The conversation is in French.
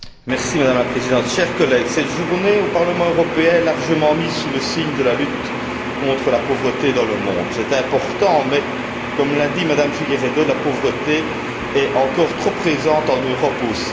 Madame la Présidente, chers collègues, cette journée au Parlement européen est largement placée sous le signe de la lutte contre la pauvreté dans le monde. C'est important mais, comme l'a dit Mme Figueiredo, la pauvreté est encore trop présente en Europe aussi.